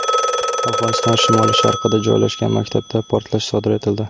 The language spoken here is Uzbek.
Afg‘oniston shimoli-sharqida joylashgan maktabda portlash sodir etildi.